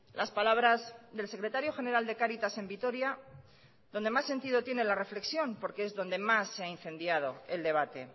las palabras del secretario general de cáritas en vitoria donde más sentido tiene la reflexión porque es donde más se ha incendiado el debate